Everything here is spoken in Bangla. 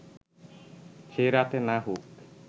সেই রাতে না হোক